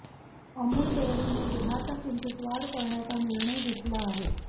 अमूल डेअरीने दुथाच्या किंमतीत वाढ करण्याचा निर्णय घेतला आहे